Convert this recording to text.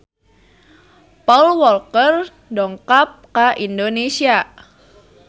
Paul Walker dongkap ka Indonesia